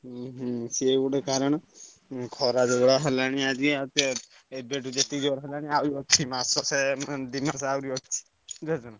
ହୁଁ ହୁଁ ସେ ଗୋଟେ କାରଣ। ଉଁ ଖରା ଯୋଉଭଳିଆ ହେଲାଣି ଆଜି ଆଉ ଏବେଠୁ ଯେତେ ଜୋରେ ହେଲାଣି ଆହୁରି ଅଛି ମାସେ ଷେଣ ଦି ମାସେ ଆହୁରି ଅଛି ବୁଝିପାରୁଛନା।